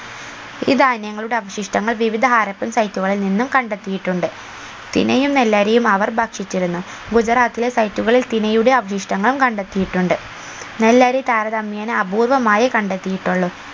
ഈ ധാന്യങ്ങളുടെ അവശിഷ്ട്ടങ്ങൾ വിവിധ ഹാരപ്പൻ site കളിൽ നിന്നും കണ്ടെത്തിയിട്ടുണ്ട് തിനയും നെല്ലരിയും അവർ ഭക്ഷിച്ചിരുന്നു ഗുജറാത്തിലെ site കളിൽ നിന്നും തിനയുടെ അവശിഷ്ട്ടങ്ങൾ കണ്ടെത്തിയിട്ടുണ്ട് നെല്ലരി താര തമ്യേന അപൂർവ്വമായേ കണ്ടെത്തിയിട്ടുള്ളു